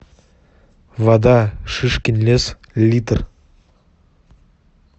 вода шишкин лес литр